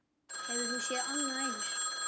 Hefur þú séð annað eins?